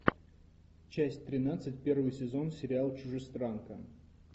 часть тринадцать первый сезон сериал чужестранка